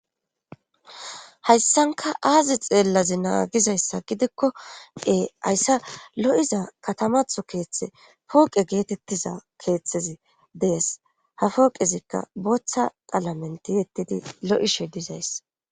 Hayssanka aazi xeellazi naagizayssa gidekko ee hayssa lo7iza katamatho keeththe pooqe geetettiza keeththezi dees ha fooqezikka boththa paalamenti yettidi lo7ishe dizays